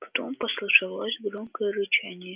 потом послышалось громкое рычание